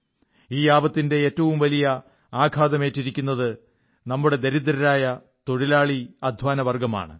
ഈ ആപത്തിന്റെ ഏറ്റവും വലിയ ആഘാതമേറ്റിരിക്കുന്നത് നമ്മുടെ ദരിദ്രരായ തൊഴിലാളിഅധ്വാനവർഗ്ഗമാണ്